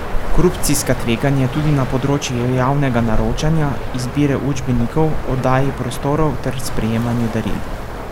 Korupcijska tveganja tudi na področju javnega naročanja, izbire učbenikov, oddaji prostorov ter sprejemanju daril.